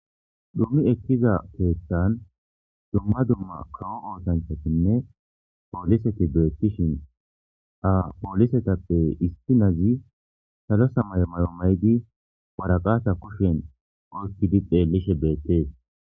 Dummi ekkiza teethtan dumma dumma kawo oosanchatinne pooliseti beettishin ha poolisetappe isinazi salo samay mayomaydi waraqasa kushen oykkidi xeellishe beettees.